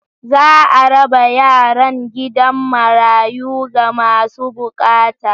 Za a raba yaran gidan marayu ga masu bukata.